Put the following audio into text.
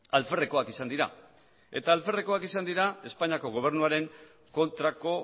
alferrekoak izan dira espainiako gobernuaren kontrako